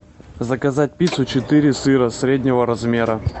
заказать пиццу четыре сыра среднего размера